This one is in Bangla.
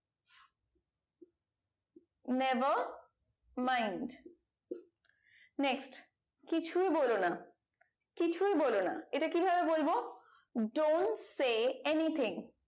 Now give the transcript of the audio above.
never mind next কিছুই বলোনা কিছুই বলনা এটা কি ভাবে বলবো dont say anything